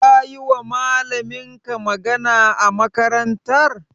Kayiwa malaminka magana a makarantar?